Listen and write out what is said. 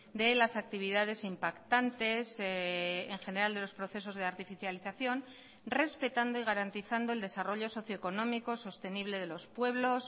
de las actividades impactantes en general de los procesos de artificialización respetando y garantizando el desarrollo socioeconómico sostenible de los pueblos